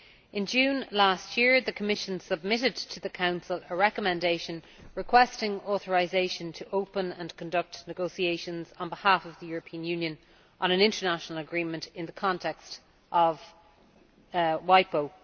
In June last year the Commission submitted to the Council a recommendation requesting authorisation to open and conduct negotiations on behalf of the European Union on an international agreement in the context of WIPO.